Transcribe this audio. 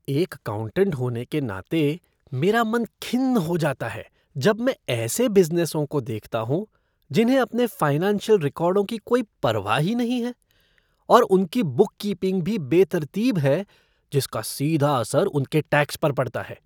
एक अकाउंटेट होने के नाते, मेरा मन खिन्न हो जाता है जब मैं ऐसे बिज़नेसों को देखता हूँ जिन्हें अपने फ़ाइनेंशियल रिकॉर्डों की कोई परवाह ही नहीं है और उनकी बुककीपिंग भी बेतरतीब है जिसका सीधा असर उनके टैक्स पर पड़ता है।